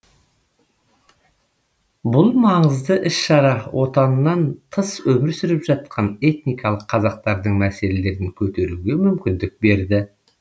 бұл маңызды іс шара отанынан тыс өмір сүріп жатқан этникалық қазақтардың мәселелерін көтеруге мүмкіндік берді